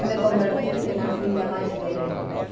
E me converti na filha mais velha dele.